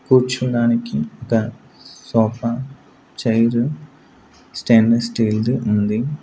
కూర్చోడానికి ఒక sofa chair stainless steel ది ఉంది.